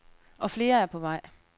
Og flere er på vej.